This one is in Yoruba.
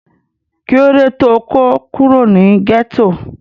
kí ló dé tó kó kúrò ní gẹ́tò?